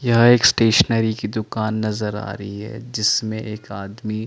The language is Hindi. यह एक स्टेशनरी की दुकान नजर आ रही है जिसमें एक आदमी--